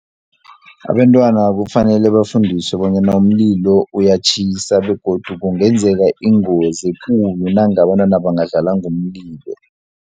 Abentwana kufanele bafundiswe bonyana umlilo uyatjhisa, begodu kungenzeka ingozi ekulu nanga abantwana bangadlala ngomlilo.